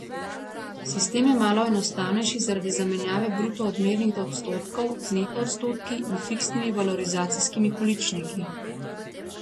Sistem je malo enostavnejši zaradi zamenjave bruto odmernih odstotkov z neto odstotki in fiksnimi valorizacijskimi količniki.